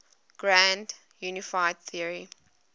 grand unified theory